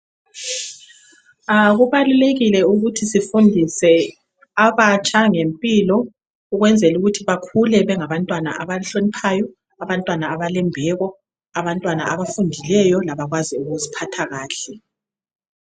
A kubalulekile ukuthi sifundise abatsha ngempilo ukwenzelukuthi bakhule bengabantwana abahloniphayo, abantwana abalembeko abantwana abafundileyo, abakwazi ukuziphatha kahle.